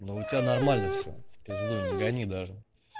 но у тебя нормально все в пизду не гони даже